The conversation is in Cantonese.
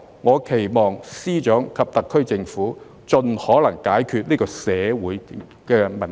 我期望司長及特區政府盡可能解決這個社會問題。